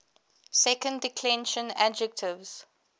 second declension adjectives